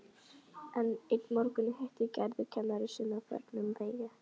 Einn morguninn hittir Gerður kennara sinn á förnum vegi.